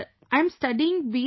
Sir, I'm studying B